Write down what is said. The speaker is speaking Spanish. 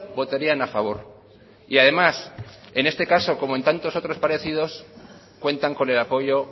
votarían a favor y además en este caso como en tantos otros parecidos cuentan con el apoyo